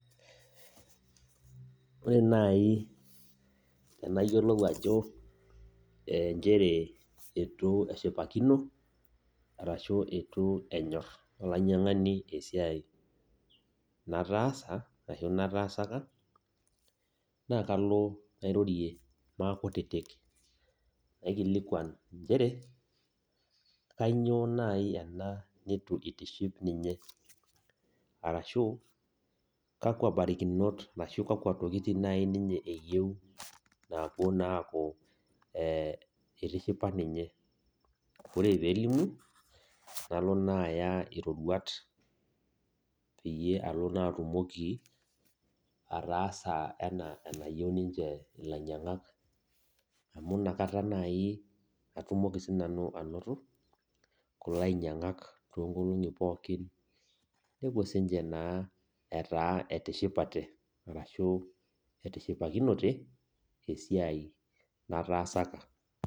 Ore nai enayiolou ajo eh nchere itu eshipakino, arashu itu enyor olainyang'ani esiai nataasa, arashu nataasaka, nakalo nairorie maakutitik. Naikilikwan nchere, kainyoo nai ena nitu itiship ninye. Arashu, kakwa barikinot arashu kakwa tokiting' nai ninye eyieu nepuo naaku eh itishipa ninye. Ore pelimu, nalo naa aya iroruat peyie alo naa atumoki, ataasa enaa enayieu ninche ilainyang'ak. Amu nakata nai atumoki sinanu anoto, kulo ainyang'ak toonkolong'i pookin, nepuo sinche naa etaa etishipate, arashu etishipakinote, esiai nataasaka.